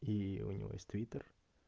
и у него есть твитер